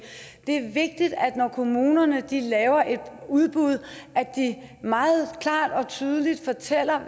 det er vigtigt når kommunerne laver et udbud at de meget klart og tydeligt fortæller